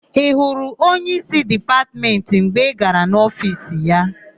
Ị hụrụ onyeísí Dipatmentị mgbe ị gara n'ofiisi ya?